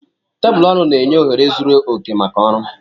Tebụl ọrụ na-enye ohere zuru oke maka ọrụ.